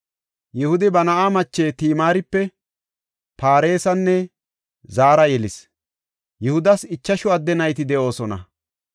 Yihudi ba na7aa mache Timaaripe Faaresanne Zaara yelis. Yihudas ichashu adde nayti de7oosona.